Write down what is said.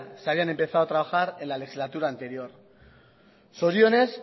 se habían empezado a trabajar en la legislatura anterior zorionez